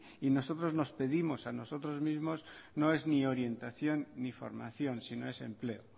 y nosotros nos pedimos a nosotros mismos no es ni orientación ni formación sino es empleo